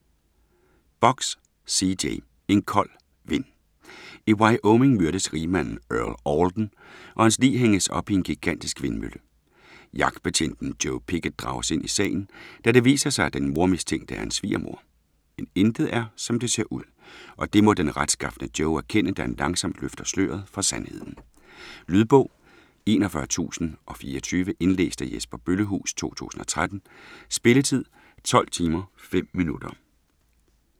Box, C. J.: En kold vind I Wyoming myrdes rigmanden Earl Alden, og hans lig hænges op i en gigantisk vindmølle. Jagtbetjenten Joe Pickett drages ind i sagen, da det viser sig, at den mordmistænkte er hans svigermor. Men intet er, som det ser ud, og det må den retskafne Joe erkende, da han langsomt løfter sløret for sandheden. Lydbog 41024 Indlæst af Jesper Bøllehuus, 2013. Spilletid: 12 timer, 5 minutter.